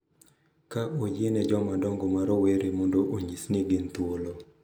Ka oyiene jomadongo ma rowere mondo onyis ni gin thuolo